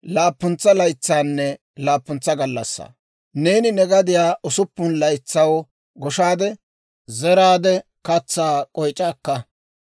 «Neeni ne gadiyaa usuppun laytsaw goshaade, zeraade katsaa k'oyc'a akka.